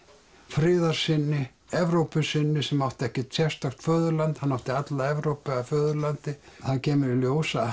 friðarsinni Evrópusinni sem átti ekkert sérstakt föðurland hann átti alla Evrópu að föðurlandi það kemur í ljós að